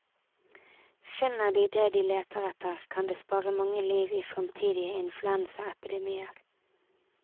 Finner de det de leter etter, kan det spare mange liv i fremtidige influensaepidemier.